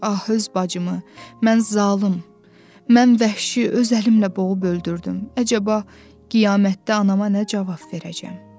Ah öz bacımı, mən zalım, mən vəhşi öz əlimlə boğub öldürdüm, əcəba qiyamətdə anama nə cavab verəcəm?